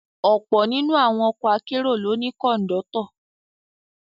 Ọ̀pọ̀ nínú àwọn ọkọ akérò ló ní Kọ̀ńdọ́tọ̀